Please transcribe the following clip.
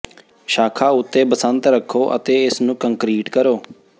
ਸ਼ਾਖਾ ਉੱਤੇ ਬਸੰਤ ਰੱਖੋ ਅਤੇ ਇਸ ਨੂੰ ਕੰਕਰੀਟ ਕਰੋ